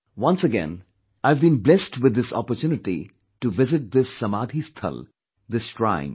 Once again I have been blessed with the opportunity to visit this Samadhi sthal, this shrine